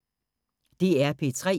DR P3